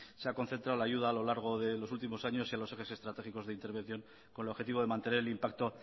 se ha concentrado la ayuda a lo largo de los últimos años y a los ejes estratégicos de intervención con el objetivo de mantener el impacto